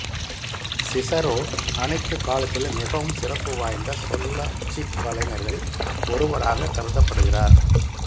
சிசரோ அனைத்து காலத்திலும் மிகவும் சிறப்புவாய்ந்த சொல்லாட்சிக் கலைஞர்களில் ஒருவராகக் கருதப்படுகிறார்